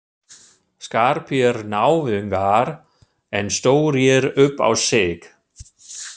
Skarpir náungar en stórir upp á sig.